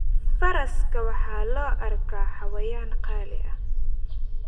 Faraska waxaa loo arkaa xayawaan qaali ah.